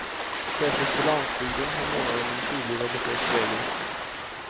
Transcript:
Särskilt på landsbygden har månaden en tydlig religiös prägel.